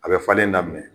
A bɛ falen daminɛ